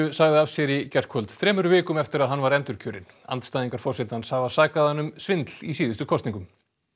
sagði af sér í gærkvöld þremur vikum eftir að hann var endurkjörinn andstæðingar forsetans hafa sakað hann um svindl í síðustu kosningum